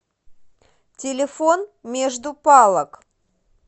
телефон между палок